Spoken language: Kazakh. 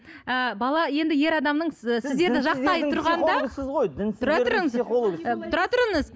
ыыы бала енді ер адамның тұра тұрыңыз